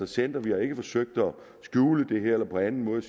sendt ud vi har ikke forsøgt at skjule noget her eller på anden måde